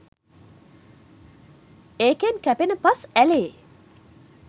ඒකෙන් කැපෙන පස් ඇළේ